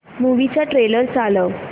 movie चा trailer चालव